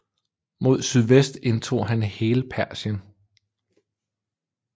Mod sydvest indtog han hele Persien